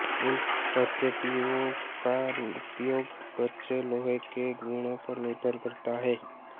इन पद्धतियों का उपयोग कच्चे लोहे के गुणों पर निर्भर करता है